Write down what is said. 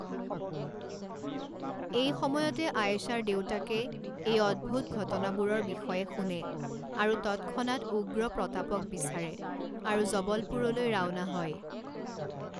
এই সময়তে আয়েশাৰ দেউতাকে এই অদ্ভুত ঘটনাবোৰৰ বিষয়ে শুনে আৰু তৎক্ষনাৎ উগ্ৰ প্ৰতাপক বিচাৰে আৰু জবলপুৰলৈ ৰাওনা হয়।